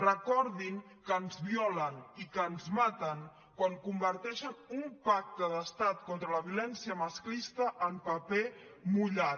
recordin que ens violen i que ens maten quan converteixen un pacte d’estat contra la violència masclista en paper mullat